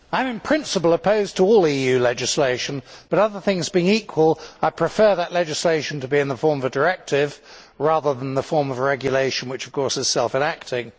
Mr President, I am in principle opposed to all EU legislation but, other things being equal, I prefer that legislation to be in the form of a directive rather than the form of a regulation, which of course is self enacting.